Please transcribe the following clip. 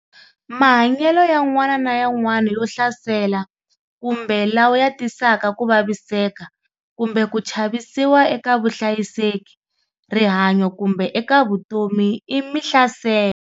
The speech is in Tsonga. Mahanyelo yan'wana na yan'wana yo hlasela kumbe lawa ya tisaka ku vaviseka kumbe ku chavisiwa eka vuhlayiseki, rihanyo kumbe eka vutomi i mihlaselo.